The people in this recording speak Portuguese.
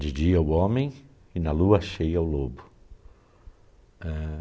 De dia o homem e na lua cheia o lobo. Ãh